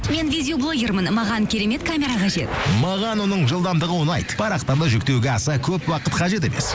мен видеоблогермін маған керемет камера қажет маған оның жылдамдығы ұнайды парақтарды жүктеуге аса көп уақыт қажет емес